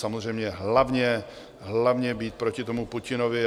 Samozřejmě hlavně být proti tomu Putinovi.